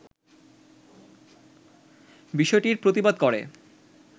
বিষয়টির প্রতিবাদ করে